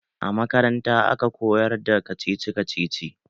A makaranta a ka koyar da kacici kacici